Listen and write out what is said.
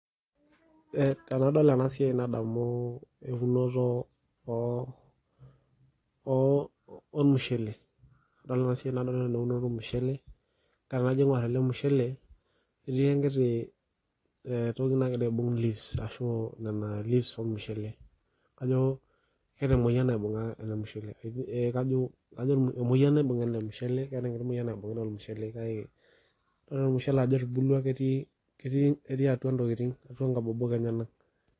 Tenadol ena siai nadamu eunoto oo ormushele. Tenadol ena siai nadol eunoto ormushele, kake tenajo aingorr ele mushele, etii enkiti toki nakira aibung leaves ashu niana leaves ormushele. Kajo keeta emoyiana naibunga ele mushele. Eeh kajo emoyian naibunga ele mushele, keeta enkiti moyian naibungita ormushele kake, wore ormushele ajo etubulua ketii atua intokitin atua inkabobok enyanak.